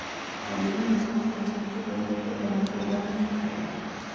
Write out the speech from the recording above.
Muwaadiniintu waxay hantidooda ku helaan ilaalin sharci ah.